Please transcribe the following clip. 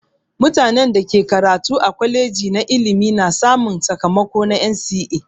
Mutanen da ke karatu a kwaleji na ilimi na samun sakamako na NCE.